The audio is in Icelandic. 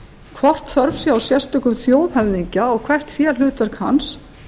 hvort þörf sé á sérstökum þjóðhöfðingja og hvert sé hlutverk hans